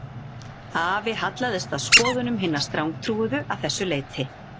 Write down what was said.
Afi hallaðist að skoðunum hinna strangtrúuðu að þessu leyti